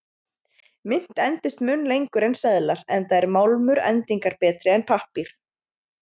Mynt endist mun lengur en seðlar, enda er málmur endingarbetri en pappír.